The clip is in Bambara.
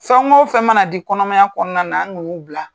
Fɛn go fɛn mana di kɔnɔmaya kɔnɔna na, an ka n'u bila.